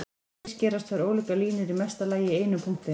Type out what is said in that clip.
Hér skerast tvær ólíkar línur í mesta lagi í einum punkti.